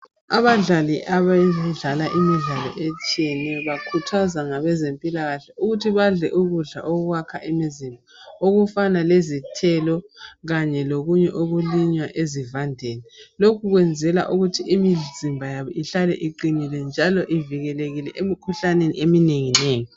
Abadlali abadlala imidlalo etshiyeneyo bakhuthazwa ngabezempilakahle ukuthi badle ukudla okwakha imizimba okufana lezithelo kanye lokunye okulinywa ezivandeni lokhu kwenzelwa ukuthi imizimba yabo ihlale iqinile njalo ivikelekile emikhuhlaneni eminenginengi